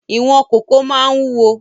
Ìwọ̀n kòkó máa ń wúwo